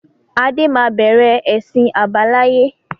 Adé máa bẹ̀rẹ̀ ẹsin àbáláyé